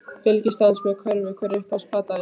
Fylgist aðeins með körfu Hver er uppáhalds platan þín?